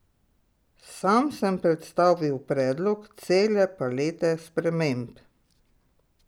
Sam sem predstavil predlog cele palete sprememb.